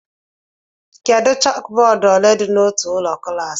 Kedu chókbódú ole dị n'otu ụlọ klas